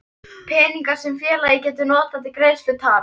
peningar sem félagið getur notað til greiðslu taps.